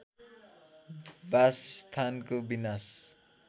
वासस्थानको विनाश